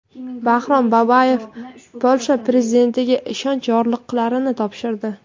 Bahrom Boboyev Polsha prezidentiga ishonch yorliqlarini topshirdi.